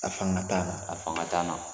A fanga t'an na a fanga t'an na.